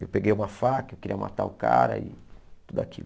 Eu peguei uma faca, eu queria matar o cara e tudo aquilo.